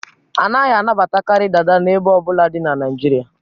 A naghị anabatakarị Dada n'ebo ọ bụla dị na Nigeria